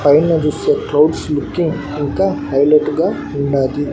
పైన జూస్తే clouds looking ఇంకా హైలైట్ గా ఉన్నాది.